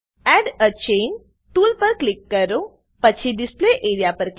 add a chain tool પર click કરો પછી ડિસ્પ્લે એઆરઇએ